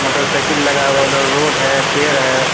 Motor cycle लगा हुआ उधर रोड है पेड़ है।